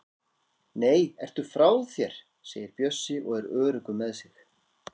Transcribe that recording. Nei, ertu frá þér! segir Bjössi og er öruggur með sig.